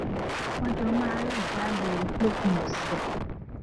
wón jọ máa ń rìn jáde lópin òsè